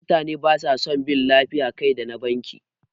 Mutane basa son bin layin ƙaida na banki